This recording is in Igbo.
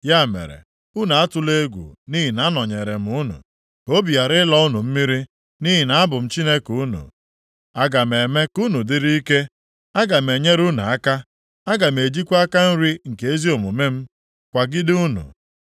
Ya mere, unu atụla egwu nʼihi na anọnyeere m unu. Ka obi ghara ịlọ unu mmiri nʼihi na abụ m Chineke unu. Aga m eme ka unu dịrị ike; aga m enyere unu aka; aga m ejikwa aka nri nke ezi omume m kwagide unu.